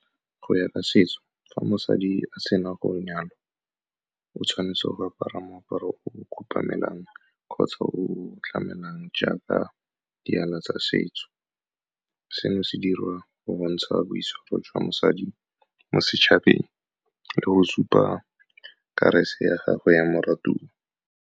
Go ya ka setso, fa mosadi a sena go nyalwa, o tshwanetse go apara moaparo o khupamelang kgotsa o tlamelang jaaka tsa setso. Seno se dira go bontsha boitshwaro jwa mosadi mo setšhabeng le go supa ya gagwe ya moratua.